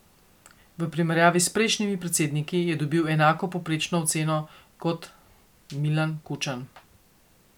V primerjavi s prejšnjimi predsedniki je dobil enako povprečno oceno kot Milan Kučan.